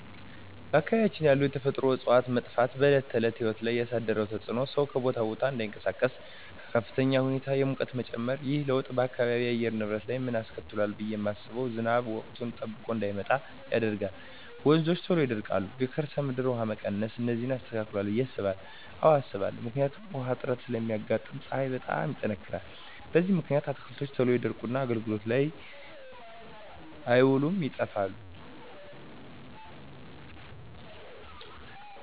በአካባቢያችን ያሉ የተፈጥሮ እፅዋት መጥፋት በዕለት ተዕለት ሕይወት ላይ ያሣደረው ተፅኖ ሠው ከቦታ ቦታ እዳይንቀሣቀስ፤ በከፍተኛ ሁኔታ የሙቀት መጨመር። ይህ ለውጥ በአካባቢው የአየር ንብረት ላይ ምን አስከትሏል ብየ ማስበው። ዝናብ ወቅቱን ጠብቆ እዳይመጣ ያደርጋል፤ ወንዞች ቶሎ ይደርቃሉ፤ የከርሠ ምድር ውሀ መቀነስ፤ እነዚን አስከትሏል ብየ አስባለሁ። አዎ አስባለሁ። ምክንያቱም ውሀ እጥረት ስለሚያጋጥም፤ ፀሀይ በጣም ይጠነክራል። በዚህ ምክንያት አትክልቶች ቶሎ ይደርቁና አገልግሎት ላይ አይውሉም ይጠፋሉ።